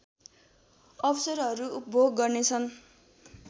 अवसरहरू उपभोग गर्नेछन्